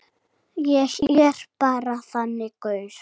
Ég er bara þannig gaur.